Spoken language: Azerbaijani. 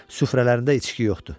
Sufrələrində içki yoxdur.